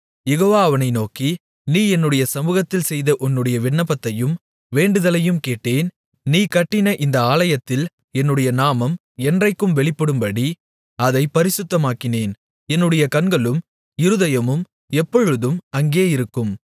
யெகோவா அவனை நோக்கி நீ என்னுடைய சமுகத்தில் செய்த உன்னுடைய விண்ணப்பத்தையும் வேண்டுதலையும் கேட்டேன் நீ கட்டின இந்த ஆலயத்தில் என்னுடைய நாமம் என்றைக்கும் வெளிப்படும்படி அதைப் பரிசுத்தமாக்கினேன் என்னுடைய கண்களும் இருதயமும் எப்பொழுதும் அங்கே இருக்கும்